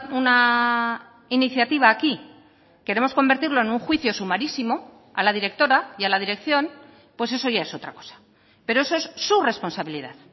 una iniciativa aquí queremos convertirlo en un juicio sumarísimo a la directora y a la dirección pues eso ya es otra cosa pero eso es su responsabilidad